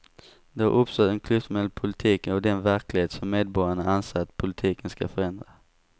Det har uppstått en klyfta mellan politiken och den verklighet som medborgarna anser att politiken ska förändra.